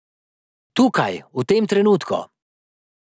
Tukaj, v tem trenutku.